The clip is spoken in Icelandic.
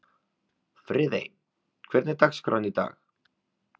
Friðey, hvernig er dagskráin í dag?